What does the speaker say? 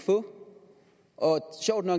og